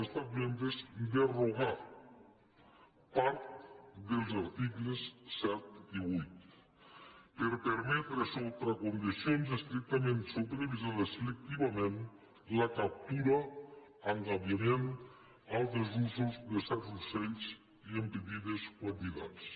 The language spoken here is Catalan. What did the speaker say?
cbres derogar part dels articles set i vuit per permetre sota condicions estrictament supervisades selectivament la captura l’engabiament o altres usos de certs ocells i en petites quantitats